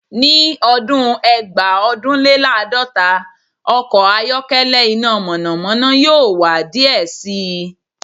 Ni ọdun Eegbaodunlelaadota se ọn ọkọ ayọkẹlẹ ina mọnamọna yoo wa diẹ sii